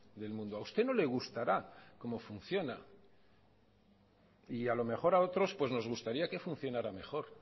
del mundo a usted no le gustará cómo funciona y a lo mejor a otros pues nos gustaría que funcionara mejor